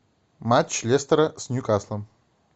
матч лестера с ньюкаслом